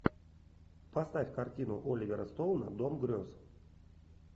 поставь картину оливера стоуна дом грез